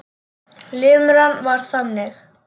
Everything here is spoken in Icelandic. Limran var þannig: